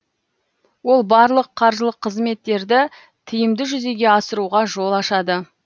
ол барлық қаржылық қызметтерді тиімді жүзеге асыруға жол ашады